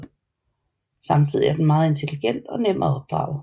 Samtidig er den meget intelligent og nem at opdrage